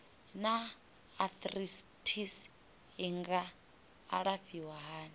naa arthritis i nga alafhiwa hani